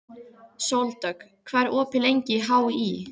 Sóldögg, hvað er opið lengi í HÍ?